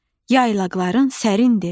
yaylaqların sərindir.